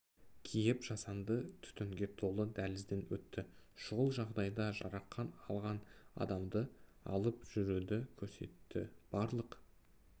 киіп жасанды түтінге толы дәлізден өтті шұғыл жағдайда жарақан алған адамды алып жүруді көрсетті барлық